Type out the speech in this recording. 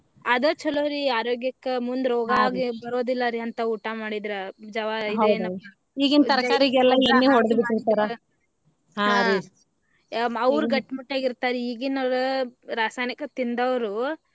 ಅದ ಚೊಲೋರಿ ಆರೋಗ್ಯಕ್ಕ ಮುಂದ ರೋಗಾ ಅದು ಬರೋದಿಲ್ಲಾರಿ ಅಂತಾ ಊಟಾ ಮಾಡಿದ್ರ ಜವಾರಿ ಇದ ಏನ ಈಗಿನ ತರಕಾರಿಗೆಲ್ಲಾ ಎಣ್ಣೆ ಹೊಡದ್ ಬಿಟ್ಟಿರ್ತಾರ ಅವ್ರ ಗಟ್ಟಿ ಮುಟ್ಟಾಗಿ ಇರ್ತಾರ ರಿ ಈಗೀನಾವ್ರ ರಾಸಾಯನಿಕ ತಿಂದವ್ರು.